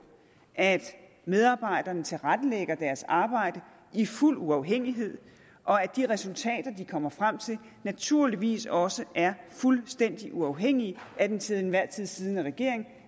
at medarbejderne tilrettelægger deres arbejde i fuld uafhængighed og at de resultater de kommer frem til naturligvis også er fuldstændig uafhængige af den til enhver tid siddende regering